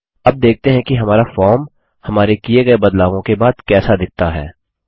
अब देखते हैं हमारा फॉर्म हमारे किये गये बदलावों के बाद कैसा दिखता है